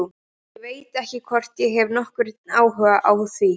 Ég veit ekki hvort ég hef nokkurn áhuga á því.